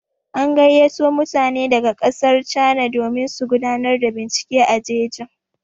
An gayyato mutane daga ƙasar cana domin su gudanar da bincike a jejin.